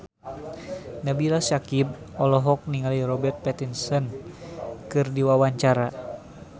Nabila Syakieb olohok ningali Robert Pattinson keur diwawancara